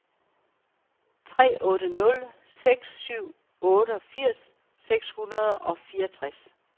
tre otte nul seks syvogfirs seks hundrede og fireogtres